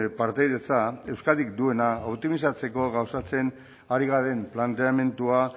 partaidetza euskadik duena optimizatzeko gauzatzen ari garen planteamendua